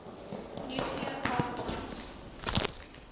nuclear power plants